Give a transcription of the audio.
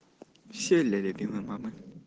все ли любимые мамы